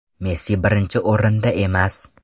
Messi birinchi o‘rinda emas.